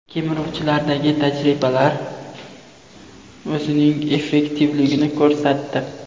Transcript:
Kemiruvchilardagi tajribalar o‘zining effektivligini ko‘rsatdi.